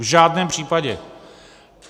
V žádném případě.